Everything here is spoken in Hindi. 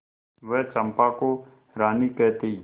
वह चंपा को रानी कहती